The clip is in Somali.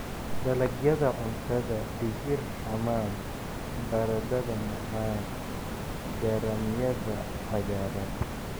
"Dalagyada cuntada - digir xamaam, baradhada macaan, garaamyada cagaaran."